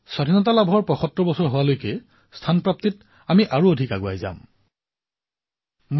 যদি আমি চেষ্টা কৰো তেন্তে স্বাধীনতাৰ ৭৫ বছৰ সমাপন হোৱাৰ মুহূৰ্তত আমি পৰ্যটনৰ ক্ষেত্ৰত বিশ্বৰ মুখ্য স্থানসমূহত স্থান লাভ কৰিবলৈ সক্ষম হম